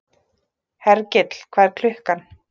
Hergill, hvað er klukkan?